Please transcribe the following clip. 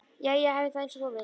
Jæja, hafðu það einsog þú vilt